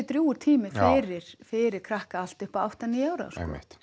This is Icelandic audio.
drjúgur tími fyrir fyrir krakka allt upp að átta níu ára sko einmitt